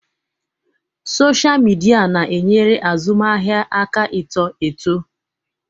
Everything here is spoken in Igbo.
Sọsha mịdia na-enyere azụmaahịa aka ịto eto.